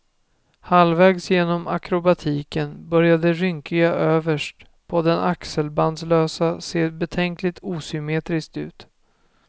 Halvägs genom akrobatiken började det rynkiga överst på den axelbandslösa se betänkligt osymmetriskt ut.